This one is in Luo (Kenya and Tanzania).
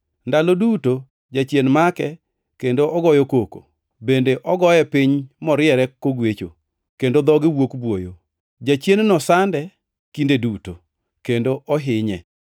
Ndalo duto jachien make kendo ogoyo koko, bende ogoye piny moriere kogwecho, kendo dhoge wuok buoyo. Jachien-no sande kinde duto, kendo ohinye.